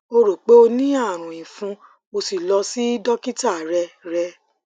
ó rò pé ó ní àrùn ìfun ó sì lọ sí dókítà rẹ rẹ